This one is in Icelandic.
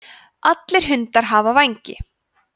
allir hundar hafa vængi